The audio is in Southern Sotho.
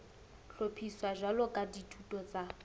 hlophiswa jwalo ka dithuto tsa